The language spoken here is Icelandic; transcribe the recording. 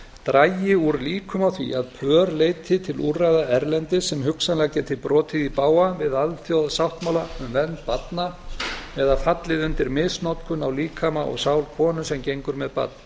dragi úr líkum á því að pör leiti til úrræða erlendis sem hugsanlega geti brotið í bága við alþjóðasáttmála um vernd barna eða fallið undir misnotkun á líkama og sál konu sem gengur með barn